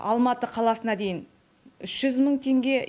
алматы қаласына дейін үш жүз мың теңге